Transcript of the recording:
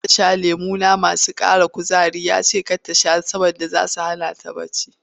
Za ta sha lemuna masu ƙara kuzari ya ce mata kar ki sha saboda zai hana ki bacci.